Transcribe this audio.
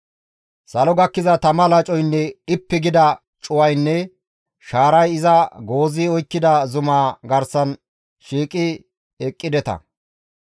«Salo gakkiza tama lacoynne dhippi gida cuwaynne shaaray iza goozi oykkida zumaa garsan shiiqi eqqideta.